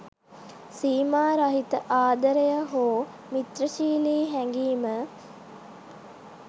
සීමා රහිත ආදරය හෝ මිත්‍රශීලී හැඟීම